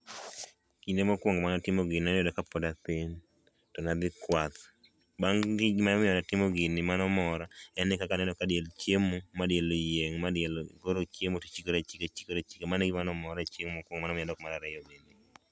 Kinde mokuongo mana timo gini noyudo ka pod athin to nadhi kwath ,gimo miyo natimo gini mano mora en ni kaka na neno ka diel chiemo ma diel oyieng' ma diel koro chiemo to chikre achika chikre achika mano e gima nomora chieng mokuongo momiyo adok mar ariyo.